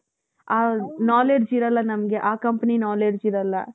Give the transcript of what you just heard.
ಆ knowledge ಇರಲ್ಲ ನಮ್ಗೆ ಆ company knowledge ಇರಲ್ಲ.